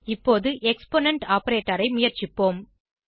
இப்போது exponent operator ஐ முயற்சிப்போம்